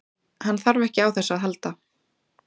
Hann þarf ekki á þessu að halda.